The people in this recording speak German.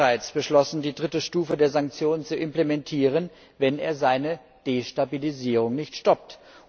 Man hatte bereits beschlossen, die dritte Stufe der Sanktionen zu implementieren, wenn er seine Destabilisierung nicht stoppt.